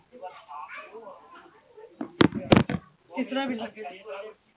तिसरा विभाग्य